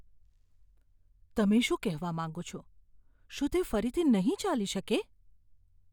તમે શું કહેવા માગો છો? શું તે ફરીથી નહીં ચાલી શકે?